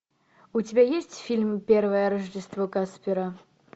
у тебя есть фильм первое рождество каспера